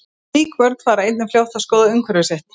Slík börn fara einnig fljótt að skoða umhverfi sitt.